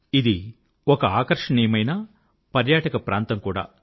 ఇది ఒక ఆకర్షణీయమైన పర్యాటక ప్రాంతం కూడా